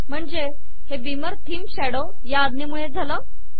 म्हणजे हे beamer theme shadow या आज्ञेमुळे झाले